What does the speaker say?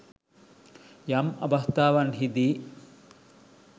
යම් අවස්ථාවන්හිදි